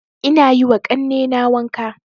Ina yiwa ƙannena wanka